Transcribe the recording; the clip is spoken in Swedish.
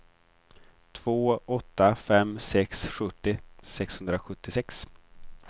två åtta fem sex sjuttio sexhundrasjuttiosex